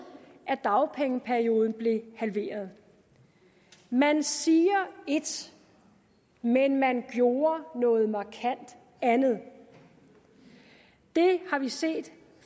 at dagpengeperioden blev halveret man siger et men man gjorde noget markant andet det har vi set